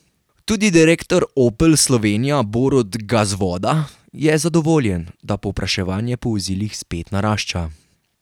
Tudi direktor Opel Slovenija Borut Gazvoda je zadovoljen, da povpraševanje po vozilih spet narašča.